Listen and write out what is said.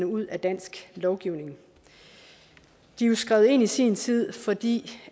ud af dansk lovgivning de er jo skrevet ind i sin tid fordi